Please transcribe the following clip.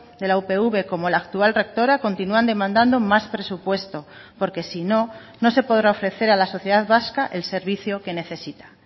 de la upv como la actual rectora continúan demandando más presupuesto porque si no no se podrá ofrecer a la sociedad vasca el servicio que necesita